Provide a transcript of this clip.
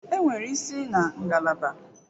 Enwere isi na ngalaba.